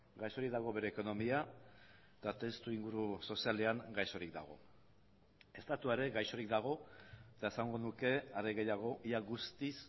gaixorik dago bere ekonomia eta testuinguru sozialean gaixorik dago estatua ere gaixorik dago eta esango nuke are gehiago ia guztiz